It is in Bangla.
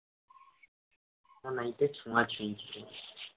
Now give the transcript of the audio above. night এ ছোয়াছুয়ি